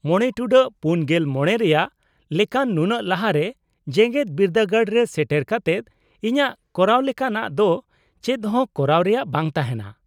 -᱕ᱹ᱔᱕ ᱨᱮᱭᱟᱜ ᱞᱮᱠᱟᱱ ᱱᱩᱱᱟᱹᱜ ᱞᱟᱦᱟ ᱨᱮ ᱡᱮᱜᱮᱫ ᱵᱤᱨᱫᱟᱹᱜᱟᱲ ᱨᱮ ᱥᱮᱴᱮᱨ ᱠᱟᱛᱮᱫ ᱤᱧᱟᱹᱜ ᱠᱚᱨᱟᱣ ᱞᱮᱠᱟᱱᱟᱜ ᱫᱚ ᱪᱮᱫᱦᱚᱸ ᱠᱟᱨᱟᱣ ᱨᱮᱭᱟᱜ ᱵᱟᱝ ᱛᱟᱦᱮᱱᱟ ᱾